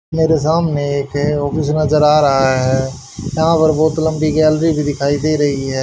मेरे सामने एक ऑफिस नजर आ रहा है यहां पर बहोत लंबी गैलरी भी दिखाई दे रही है।